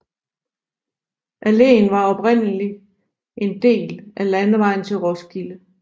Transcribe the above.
Alléen var oprindeligt en del af landevejen til Roskilde